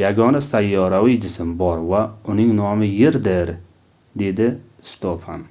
yagona sayyoraviy jism bor va uning nomi yerdir - dedi stofan